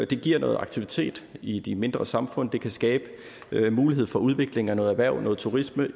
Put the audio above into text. det giver noget aktivitet i de mindre samfund og det kan skabe mulighed for udvikling af noget erhverv og noget turisme